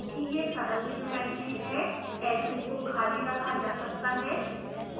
क्योंकि यह सरल ज्योमेट्री है edges को खाली रखा जा सकता है